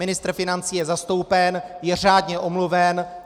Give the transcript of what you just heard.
Ministr financí je zastoupen, je řádně omluven.